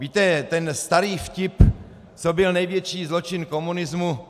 Víte, ten starý vtip: Co byl největší zločin komunismu?